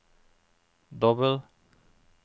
dobbel